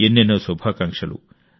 ఎన్నెన్నో శుభాకాంక్షలు